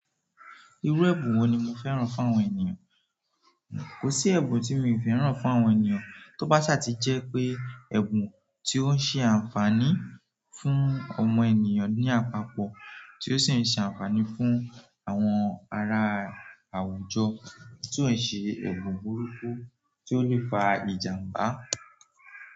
Irú ẹ̀bùn wo ni mo fẹ́ràn fún àwọn ènìyàn? Kò sí ẹ̀bùn tí mi ò fẹ́ràn fún àwọn ènìyàn, tó bá ṣàtìjẹ́ pé ẹ̀bùn tí ó ń ṣe àǹfààní fún ọmọ ènìyàn ní àpapọ̀ tí ó sì ń ṣe àǹfààní fún àwọn ará àwùjọ, tí ó ń ṣe ẹ̀bùn burúkú tí ó lè fa ìjàǹbá.